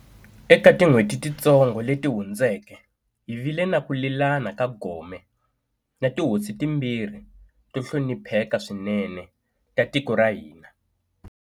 Eka tin'hweti titsongo leti hundzeke, hi vile ni ku lelana ka gome na tihosi timbirhi to hlonipheka swinene ta tiko ra hina.